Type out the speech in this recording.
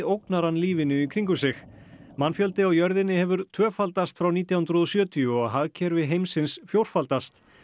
ógnar hann lífinu í kringum sig mannfjöldi á jörðinni hefur tvöfaldast frá nítján hundruð og sjötíu og hagkerfi heimsins fjórfaldast